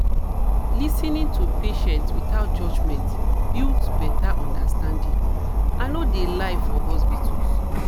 lis ten ing to patients without judgment builds betta understanding i no de lie for hospitals.